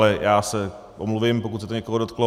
Ale já se omluvím, pokud se to někoho dotklo.